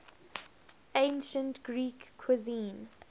ancient greek cuisine